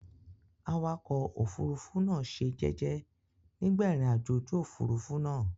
Awakọ̀ òfurufú náà ṣe jẹ́jẹ́ nígbà ìrìnàjò ojú òfurufú náà.